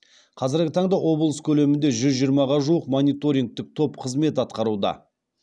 қазіргі таңда облыс көлемінде жүз жиырмаға жуық мониторингтік топ қызмет атқаруда